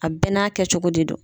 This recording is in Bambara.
A bɛɛ n'a kɛ cogo de don.